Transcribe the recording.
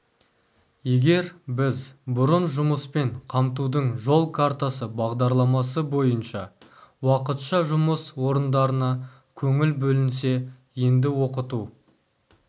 егер біз бұрын жұмыспен қамтудың жол картасы бағдарламасы бойынша уақытша жұмыс орындарына көңіл бөлінсе енді оқыту